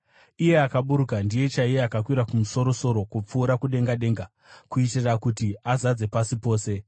Iye akaburuka ndiye chaiye akakwira kumusoro-soro kupfuura kudenga denga, kuitira kuti azadze pasi pose.)